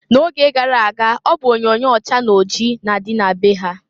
Na oge gara aga ọ bụ onyoonyoo ọcha na oji na-adị na be ha.